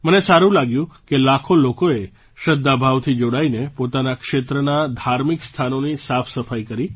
મને સારું લાગ્યું કે લાખો લોકોએ શ્રદ્ધાભાવથી જોડાઈને પોતાના ક્ષેત્રનાં ધાર્મિક સ્થાનોની સાફસફાઈ કરી